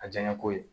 A jaɲɛko ye